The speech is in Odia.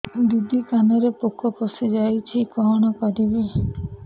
ଦିଦି କାନରେ ପୋକ ପଶିଯାଇଛି କଣ କରିଵି